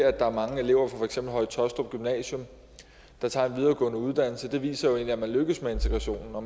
er mange elever fra for eksempel høje taastrup gymnasium der tager en videregående uddannelse jo egentlig viser at man lykkes med integrationen og